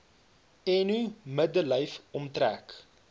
eno middellyf omtrek